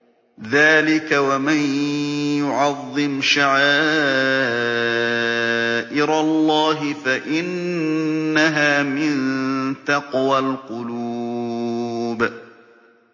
ذَٰلِكَ وَمَن يُعَظِّمْ شَعَائِرَ اللَّهِ فَإِنَّهَا مِن تَقْوَى الْقُلُوبِ